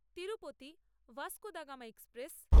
Tirupati Vasco da Gama express